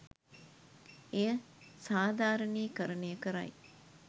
එය සාධාරණී කරණය කරයි.